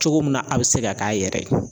Cogo min na a be se ka k'a yɛrɛ ye